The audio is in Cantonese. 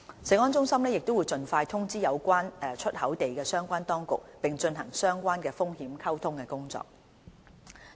食安中心亦會盡快通知有關出口地的相關當局，並進行相關的風險溝通工作。